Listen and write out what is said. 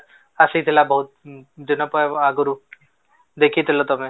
ଆସିଥିଲା ବହୁତ ଦିନକ ଆଗରୁ ଦେଖିଥିଲ ତମେ